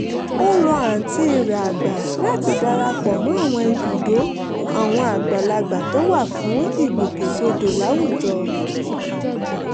ó rọ àǹtí rẹ̀ àgbà láti dara pọ̀ mọ́ ibùdó àwọn àgbàlagbà tó wà fún ìgbòkègbodò láwùjọ